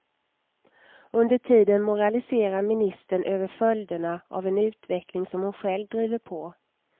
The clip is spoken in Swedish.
Under tiden moraliserar ministern över följderna av en utveckling som hon själv driver på.